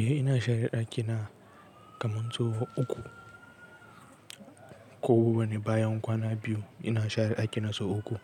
Eh ina share ɗakina kamar sau uku ko bana bayan kwana biyu ina share ɗakina sau uku.